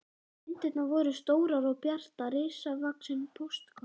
Myndirnar voru stórar og bjartar, risavaxin póstkort.